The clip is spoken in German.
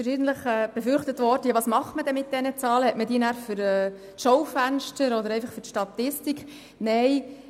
Verschiedentlich wurde gefragt, was man dann mit diesen Zahlen mache und ob man sie dann für die Schaufenster oder einfach für die Statistik habe.